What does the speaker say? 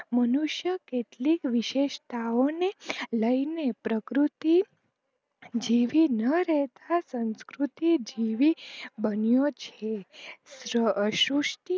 મનુષ્ય કેટલીક વિશેસ્તાઓ ને લઈ ને પ્રકૃતિ જીવી ના રહતા સંકૃતિ જીવી બન્યો છે